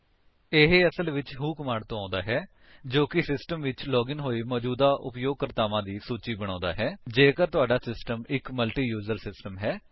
ਇਹ ਅਸਲ ਵਿੱਚ ਵ੍ਹੋ ਕਮਾਂਡ ਤੋਂ ਆਉਂਦਾ ਹੈ ਜੋ ਕਿ ਸਿਸਟਮ ਵਿੱਚ ਲਾਗਿਨ ਹੋਏ ਮੌਜੂਦਾ ਉਪਯੋਗਕਰਤਾਵਾਂ ਦੀ ਸੂਚੀ ਬਣਾਉਂਦਾ ਹੈ ਜੇਕਰ ਤੁਹਾਡਾ ਸਿਸਟਮ ਇੱਕ ਮਲਟੀਯੂਜਰ ਸਿਸਟਮ ਹੈ